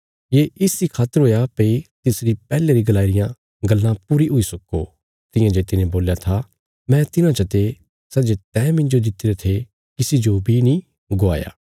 ये इस इ खातर हुया भई तिसरी पैहले री गलाई रियां गल्लां पूरी हुई सक्को तियां जे तिने बोल्या था मैं तिन्हां चते सै जे तैं मिन्जो दित्तिरे थे किसी जो बी नीं गवाया